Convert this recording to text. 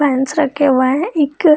fans रखे हुए है एक --